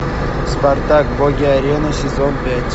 спартак боги арены сезон пять